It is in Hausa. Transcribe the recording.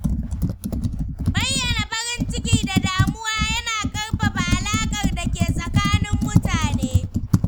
Bayyana farin ciki da damuwa yana ƙarfafa alaƙar da ke tsakanin mutane.